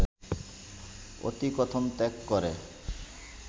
অতিকথন ত্যাগ করে